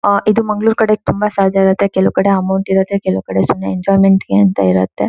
ಆಹ್ಹ್ ಇದು ಮಂಗಳೂರೇ ಕಡೆ ತುಂಬಾ ಸಹಜ ಆಗಿರುತ್ತೆ ಕೆಲವು ಕಡೆ ಅಮೌಂಟ್ ಇರುತ್ತೆ ಕೆಲವು ಕಡೆ ಸುಮ್ನೆ ಎಂಜೋಯ್ಮೆಂಟ್ ಗೆ ಅಂತ ಇರುತ್ತೆ.